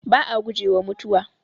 Ba'a gujewa mutuwa.